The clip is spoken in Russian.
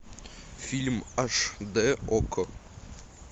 фильм аш дэ окко